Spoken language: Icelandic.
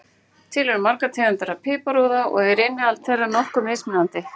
Til eru margar tegundir af piparúða og er innihald þeirra nokkuð mismunandi.